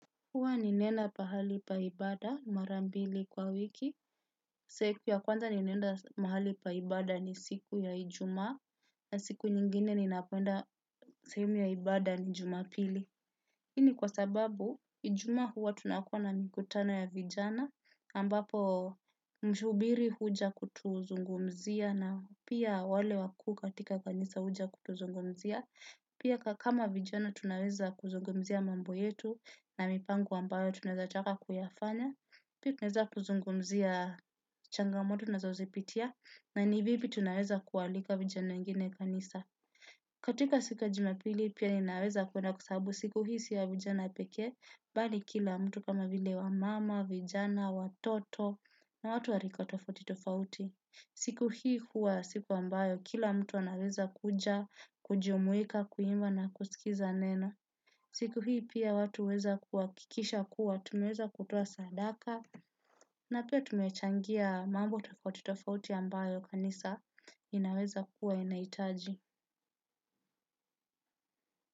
Huwa ninaenda pahali pa ibada mara mbili kwa wiki. Siku ya kwanza ninaenda mahali pa ibada ni siku ya Ijumaa, Na siku nyingine ninapoenda sehemu ya ibada ni Jumapili. Hii ni kwa sababu, ijumaa huwa tunakuwa na mikutano ya vijana, ambapo mhubiri huja kutuzungumzia na pia wale wakuu katika kanisa huja kutuzungumzia. Pia kama vijana tunaweza kuzungumzia mambo yetu na mipango ambayo tunaweza taka kuyafanya. Pia tunaweza kuzungumzia changamoto tunazozipitia na ni vipi tunaweza kualika vijana wengine kanisa. Katika siku ya Jumapili pia ninaweza kuenda kwa sababu siku hii si ya vijana pekee, bali kila mtu kama vile wamama, vijana, watoto na watu wa rika tofauti tofauti. Siku hii huwa siku ambayo kila mtu anaweza kuja, kujumuika, kuimba na kusikiza neno. Siku hii pia watu huweza kuhakikisha kuwa, tumeweza kutoa sadaka na pia tumechangia mambo tofauti tofauti ambayo kanisa inaweza kuwa inahitaji.